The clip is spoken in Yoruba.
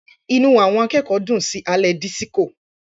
Inú àwọn akẹ́kọ̀ọ́ dùn sí alẹ́ disiko.